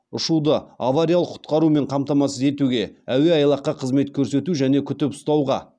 ұшуды авариялық құтқарумен қамтамасыз етуге әуеайлаққа қызмет көрсету және күтіп ұстауға